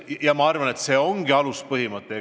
Ja ma arvan, et see ongi aluspõhimõte.